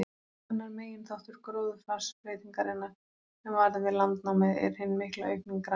Annar meginþáttur gróðurfarsbreytingarinnar, sem varð við landnámið, er hin mikla aukning grasa.